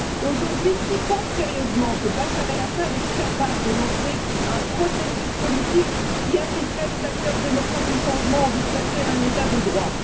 Aujourd'hui, qui pense sérieusement que Bachar el Assad est capable de lancer un processus politique qui impliquerait les acteurs démocrates du changement en vue de construire un état de droit?